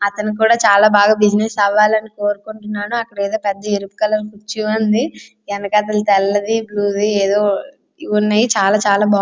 అతను కూడా చాలా బాగా బిజినెస్ అవ్వాలా అన్ని కోరుకుంటున్నాడు అక్కడ ఏదో పెద్ద ఎరుపు కలర్ కుర్చీ వుంది వెనక తలది బ్లూ అన్ని కూడా ఉన్నాయి.